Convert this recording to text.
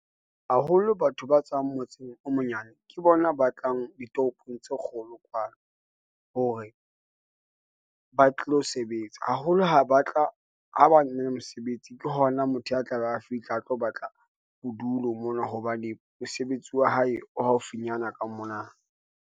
Haholo, batho ba tswang motseng o monyane, ke bona ba tlang ditoropong tse kgolo kwano, hore ba tlo sebetsa, haholo ha batla mesebetsi. Ke hona motho a tlabe a fihle a tlo batla bodulo mona, hobane mosebetsi wa hae o haufinyana ka mona.